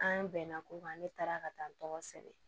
An bɛnna ko kan ne taara ka taa n tɔgɔ sɛbɛn